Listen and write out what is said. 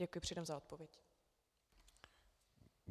Děkuji předem za odpověď.